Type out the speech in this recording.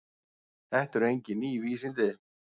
Þetta eru engin ný vísindi.